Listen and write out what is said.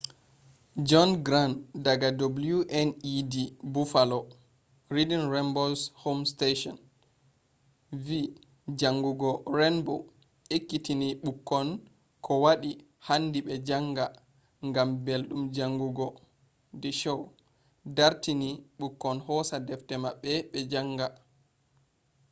john grant daga wned buffalo reading rainbow’s home station vi jangugo rainbow ekkitini bukkon kowadi handi be janga.....gam beldum jangugo - [the show] dartini bukkon hosa defte mabbe be janga